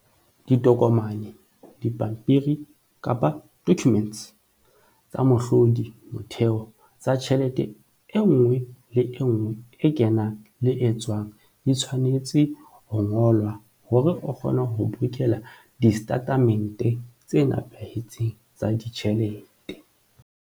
Ditokomane, dipampiri-documents, tsa mohlodi, motheo, tsa tjhelete e nngwe le e nngwe e kenang le e tswang di tshwanetse ho ngolwa hore o kgone ho bokella distatemente tse nepahetseng tsa ditjhelete.